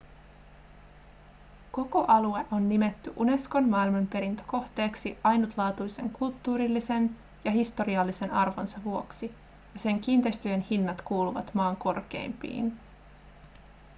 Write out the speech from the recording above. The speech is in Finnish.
koko alue on nimetty unescon maailmanperintökohteeksi ainutlaatuisen kulttuurillisen ja historiallisen arvonsa vuoksi ja sen kiinteistöjen hinnat kuuluvat maan korkeimpiin